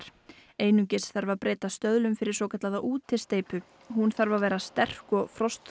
einungis þarf að breyta stöðlum fyrir svokallaða útisteypu hún þarf að vera sterk og